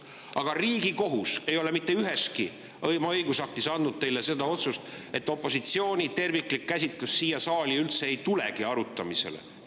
Aga Riigikohus ei ole mitte üheski oma õigusaktis andnud teile seda, et opositsiooni terviklik käsitlus siia saali üldse ei tulegi arutamisele.